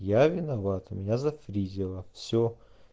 я виноват у меня зафризиило все